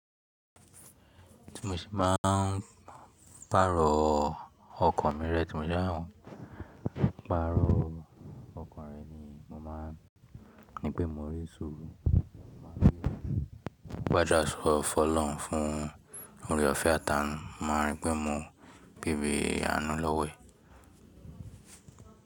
Tí mo ṣe bá ń pàrọ̀ ọkọ̀ mi rẹ, tí mo bá ń pàrọ̀ ọkọ̀ mi rẹ ni mo máa ń ní pé mò ń rí sùúrù. Mo máa rí gbájá ọ̀fọ̀ lọ́hun fún orí ọ̀fẹ́ àtà ń máa rí pé mò ń bí bí àánú lọ́wẹ̀.